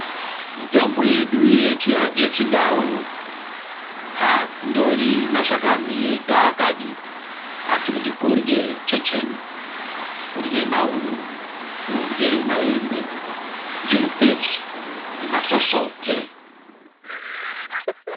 Mitombo yedu yechiNdau haasindori mashakani ega akadi asi kuti kurye checheni, kurye mauyu, kurye maembe, zvirupesu nemasosote.